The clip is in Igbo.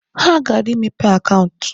Ha gara imepe akaụntụ.